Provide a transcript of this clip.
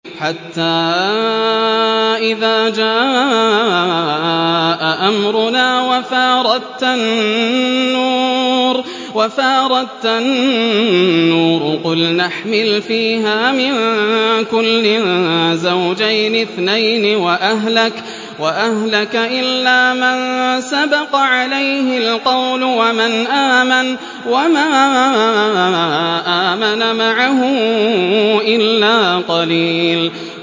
حَتَّىٰ إِذَا جَاءَ أَمْرُنَا وَفَارَ التَّنُّورُ قُلْنَا احْمِلْ فِيهَا مِن كُلٍّ زَوْجَيْنِ اثْنَيْنِ وَأَهْلَكَ إِلَّا مَن سَبَقَ عَلَيْهِ الْقَوْلُ وَمَنْ آمَنَ ۚ وَمَا آمَنَ مَعَهُ إِلَّا قَلِيلٌ